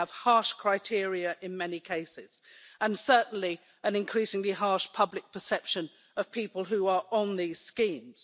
they have harsh criteria in many cases, and they certainly have an increasingly harsh public perception of people who are on these schemes.